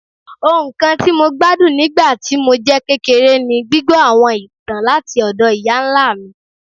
Ohun kan ti Mo gbadun nigba ti mo jẹ kekere ni gbigbọ awọn itan lati ọdọ iya-nla mi